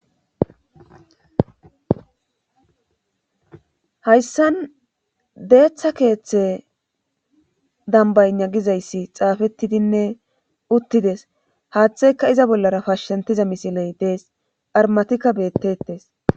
Hayssan deetha keethe dambbaynna gizayssi xaafettidinne uttides haathaykka iza bollara phashanttizay misiley dees armmatikka beetteetes.